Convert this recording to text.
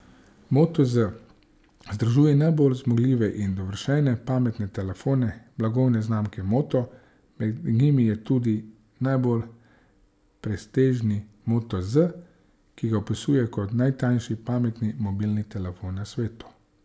Moto Z združuje najbolj zmogljive in dovršene pametne telefone blagovne znamke Moto, med njimi je tudi najbolj prestižni Moto Z, ki ga opisujejo kot najtanjši pametni mobilni telefon na svetu.